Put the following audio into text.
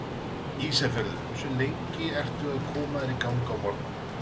Ísafjörður Hversu lengi ertu að koma þér í gang á morgnanna?